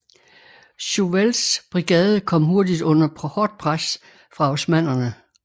Chauvels brigade kom hurtigt under hårdt pres fra osmannerne